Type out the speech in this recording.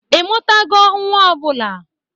Ị mụtago nwa ọ bụla?